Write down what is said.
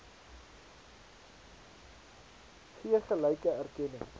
gee gelyke erkenning